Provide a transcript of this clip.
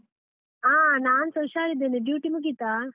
ಹಾ ನಾನ್ಸ ಹುಷಾರಿದ್ದೇನೆ, duty ಮುಗೀತಾ?